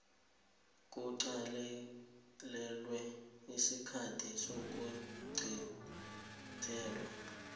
kuqalelelwe isikhathi sokuqintelwa